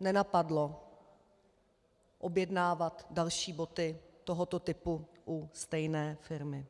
nenapadlo objednávat další boty tohoto typu u stejné firmy.